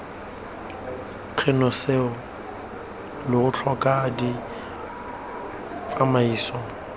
kgone seo lo tlhoka ditsamaiso